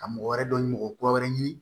Ka mɔgɔ wɛrɛ dɔ ɲini o kura wɛrɛ ɲini